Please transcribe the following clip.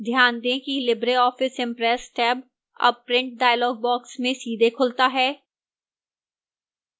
ध्यान दें कि libreoffice impress tab tab print dialog box में सीधे खुलता है